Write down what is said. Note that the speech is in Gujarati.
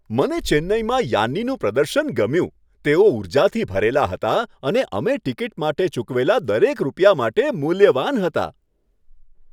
મને ચેન્નઈમાં યાન્નીનું પ્રદર્શન ગમ્યું. તેઓ ઉર્જાથી ભરેલા હતા અને અમે ટિકિટ માટે ચૂકવેલા દરેક રૂપિયા માટે મુલ્યવાન હતા.